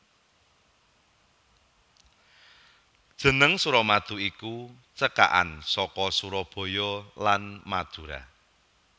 Jeneng Suramadu iku cekakan saka Surabaya lan Madura